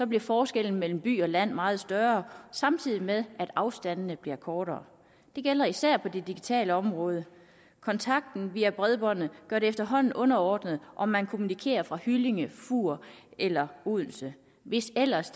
bliver forskellen mellem by og land meget større samtidig med at afstandene bliver kortere det gælder især på det digitale område kontakten via bredbåndet gør det efterhånden underordnet om man kommunikerer fra hyllinge fur eller odense hvis ellers